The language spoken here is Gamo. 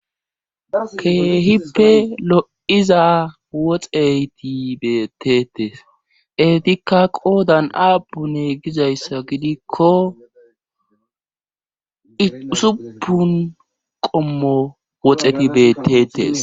keehippe lo7iza woxeyti bettetes etikka qoodan abune gizayssa gidikko supun qommo woxeti beettetes